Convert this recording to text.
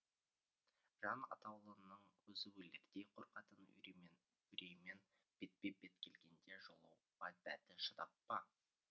жан атаулының өзі өлердей қорқатын үреймен бетпе бет келгенде жолығуға дәті шыдап па